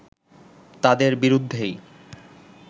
তাদের বিরুদ্ধেই